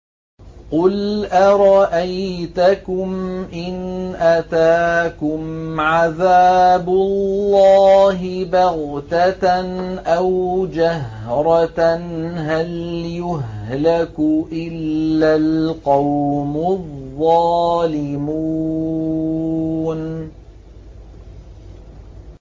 قُلْ أَرَأَيْتَكُمْ إِنْ أَتَاكُمْ عَذَابُ اللَّهِ بَغْتَةً أَوْ جَهْرَةً هَلْ يُهْلَكُ إِلَّا الْقَوْمُ الظَّالِمُونَ